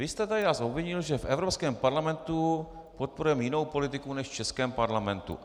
Vy jste tady nás obvinil, že v Evropském parlamentu podporujeme jinou politiku než v českém parlamentu.